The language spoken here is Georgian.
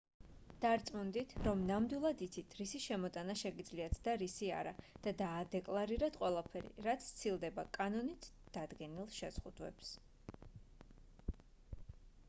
დარწმუნდით რომ ნამდვილად იცით რისი შემოტანა შეგიძლიათ და რისი არა და დაადეკლარირეთ ყველაფერი რაც სცილდება კანონით დადგენილ შეზღუდვებს